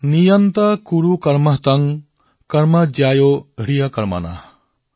নিয়ন্ত কুৰু কৰ্ম ত্বঃ কৰ্ম জ্যায়ো হ্যকৰ্মণঃ